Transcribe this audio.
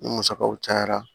Ni musakaw cayara